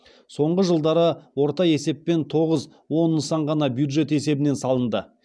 соңғы жылдары орта есеппен тоғыз он нысан ғана бюджет есебінен салынды